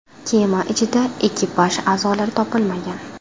Kema ichida ekipaj a’zolari topilmagan.